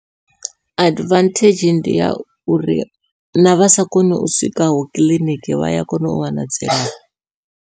Advantage ndi ya uri navha sa koni u swikaho kiḽiniki vha ya kona u wana dzilafho.